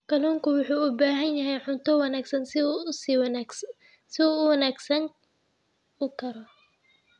Kalluunku wuxuu u baahan yahay cunto wanaagsan si uu si wanaagsan u koro.